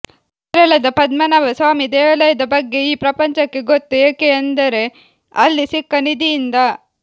ಕೇರಳದ ಪದ್ಮನಾಭ ಸ್ವಾಮಿ ದೇವಾಲಯದ ಬಗ್ಗೆ ಈ ಪ್ರಪಂಚಕ್ಕೆ ಗೊತ್ತು ಏಕೆ ಎಂದರೆ ಅಲ್ಲಿ ಸಿಕ್ಕ ನಿಧಿ ಇಂದ